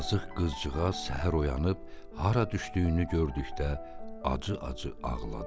Yazıq qızcığaz səhər oyanıb hara düşdüyünü gördükdə acı-acı ağladı.